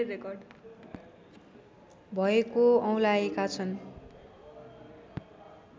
भएको औँल्याएका छन्